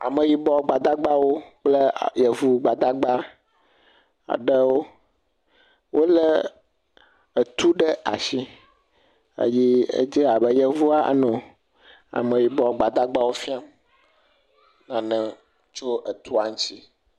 Ameyibɔ gbadagba kple a yevo gbadagba aɖewo wolé etu ɖe atsi eye edze abe yevoa anɔ ameyibɔ gbadagbawo fiam nane tso etua ŋtsi.